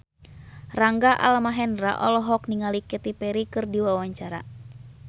Rangga Almahendra olohok ningali Katy Perry keur diwawancara